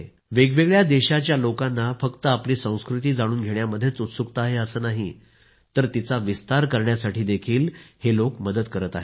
वेगवेगळ्या देशांच्या लोकांना फक्त आपली संस्कृती जाणून घेण्यामध्येच उत्सुकता आहे असे नाही तर तिचा विस्तार करण्यासाठीही हे लोक मदत करीत आहेत